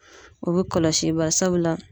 O be kɔlɔsi, bari sabula